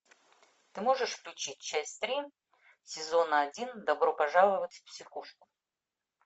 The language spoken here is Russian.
ты можешь включить часть три сезона один добро пожаловать в психушку